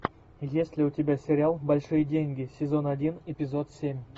есть ли у тебя сериал большие деньги сезон один эпизод семь